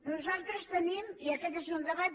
nosaltres tenim i aquest és un debat